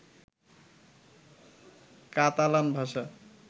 Catalan ভাষা